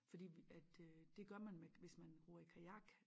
Fordi at øh det gør man med hvis man ror i kajak